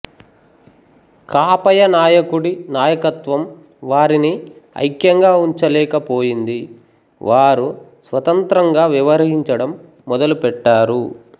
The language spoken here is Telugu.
కాపయ నాయకుడి నాయకత్వం వారిని ఐక్యంగా ఉంచలేక పోయింది వారు స్వతంత్రంగా వ్యవహరించడం మొదలు పెట్టారు